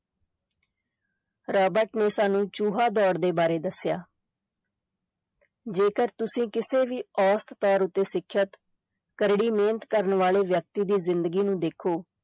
Robert ਨੇ ਸਾਨੂੰ ਚੂਹਾ ਦੌੜ ਦੇ ਬਾਰੇ ਦੱਸਿਆ ਜੇਕਰ ਤੁਸੀਂ ਕਿਸੇ ਵੀ ਔਸਤ ਤੌਰ ਉੱਤੇ ਸਿੱਖਿਅਤ ਕਰੜੀ ਮਿਹਨਤ ਕਰਨ ਵਾਲੇ ਵਿਅਕਤੀ ਦੀ ਜ਼ਿੰਦਗੀ ਨੂੰ ਦੇਖੋ,